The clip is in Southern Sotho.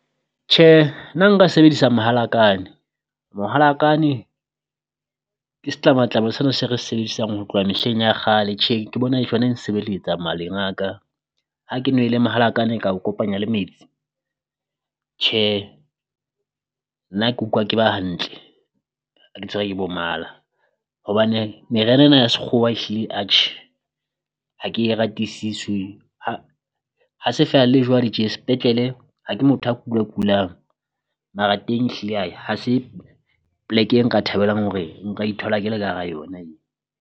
Tjhe nna nka sebedisa mahalakane, mohalakane ke se tlamatlama sena se re sebedisang ho tloha mehleng ya kgale tjhe ke bona e nsebeletsa maleng a ka. Ha ke nwele mohalakana ka o kopanya le metsi tjhe nna ke ukwa ke ba hantle ha ke tshwere ke bo mala, hobane meriana ena ya sekgowa ehlile atjhe ha ke e ratisiswe ha ha se feela le jwale tje sepetlele ha ke motho a kula kulang. Mara teng ehlile ae ha se pleke e nka thabelang hore nka ithola ke le ka hara yona eo.